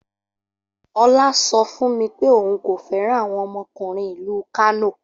Ola so fun mi pe oun ko feran awon omokunrin ilu Kano.